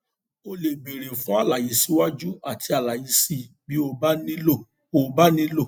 o lè béèrè fún àlàyé síwájú àti àlàyé síi bí ó bá nílò ó bá nílò